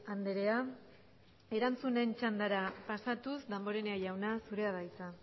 andrea erantzunen txanda pasatuz damborenea jauna zurea da hitza